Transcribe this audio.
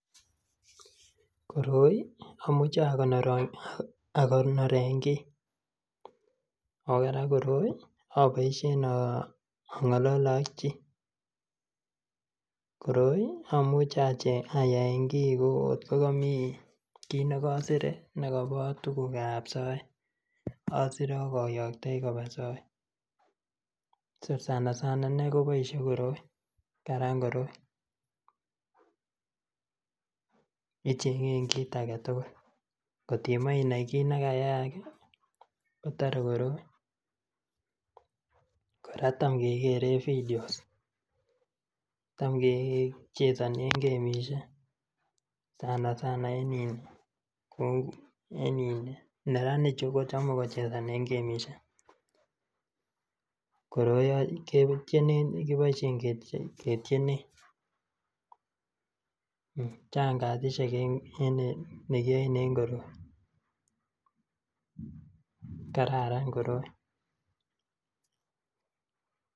Koroi amuche akonoren akonoren kiy ako kora koroi aboisien ang'olole ak chii. Koroi amuche acheng ayaen kiy kou kotko komii kiy nekosire nekobo tugukab soet osire akoyoktoi koba soet. so sana sana inei koboisie koroi karan koroi icheng'en kit aketugul ngot imoe inai kiy nekayaak ih kotore koroi. Kora tam kekeren videos tam kechesonen gemisiek sana sana en um neranik chu kochome kochesanen gemisiek. Koroi ketienen kiboisien ketienen, chang kasisiek en nekeyoen en koroi. Kararan koroi